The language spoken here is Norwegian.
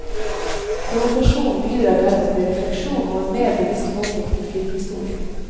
Provokasjonen bidrar dermed til refleksjon og en mer bevisst holdning til filmhistorien.